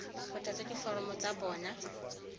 go tlatsa diforomo tsa bona